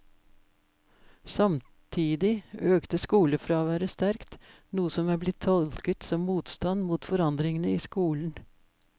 Samtidig økte skolefraværet sterkt, noe som er blitt tolket som motstand mot forandringene i skolen.